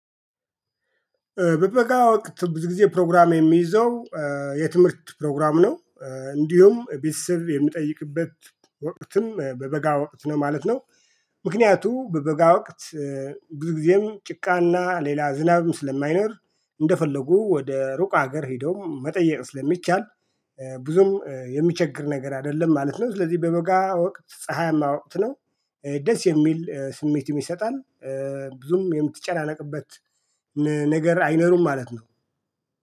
በበጋ ወቅት ብዙ ጊዜ ፕሮግራም የሚይዘው የትምህርት ፕሮግራም ነው። እንዲሁም ቤተሰብ የምጠይቅበት ወቅትም በበጋ ወቅት ነው ማለት ነው። ምክንያቱም በበጋ ወቅት ብዙ ጊዜም ጭቃና ሌላ ዝናብም ስለማይኖር እንደፈለጉ ወደ ሩቅ ሀገር ሄዶ መጠየቅ ስለሚቻል ብዙም የሚቸግር ነገር አይደለም ማለት ነው። ስለዚህ በበጋ ወቅት ፀሀያማ ወቅት ነው። ደስ የሚል ስሜትም ይሰጣል። ብዙም የምትጨናነቅበት ነገር አይኖርም ማለት ነው